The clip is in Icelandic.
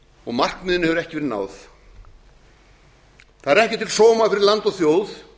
og markmiðinu hefur ekki verið náð það er ekki til sóma fyrir land og þjóð